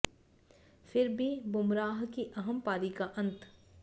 फिर भी बुमराह की अहम पारी का अंत